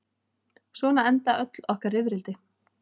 Svona enda öll okkar rifrildi.